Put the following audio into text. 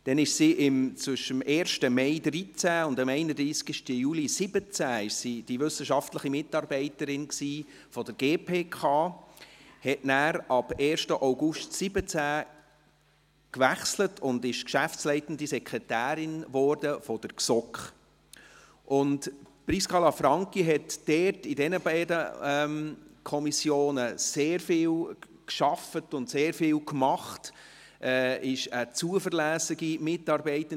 Dann war sie zwischen dem 1. Mai 2013 und dem 31. Juli 2017 die wissenschaftliche Mitarbeiterin der GPK, wechselte am 1. August 2017 und wurde Geschäftsleitende Sekretärin der GSoK. Prisca Lanfranchi hat in den beiden Kommissionen sehr viel gearbeitet und sehr viel getan, war eine zuverlässige Mitarbeiterin.